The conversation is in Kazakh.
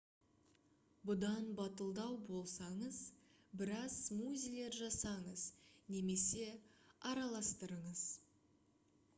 бұдан батылдау болсаңыз біраз смузилер жасаңыз немесе араластырыңыз